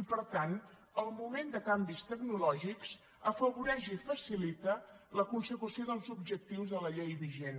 i per tant el moment de canvis tecnològics afavoreix i facilita la consecució dels objectius de la llei vigent